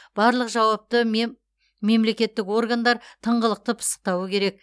барлық жауапты мемлекеттік органдар тыңғылықты пысықтауы керек